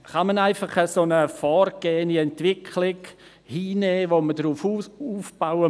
Kann man einfach eine vorgegebene Entwicklung hinnehmen, und muss man auf ihr aufbauen?